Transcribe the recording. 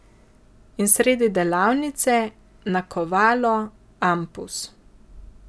In sredi delavnice nakovalo, ampus.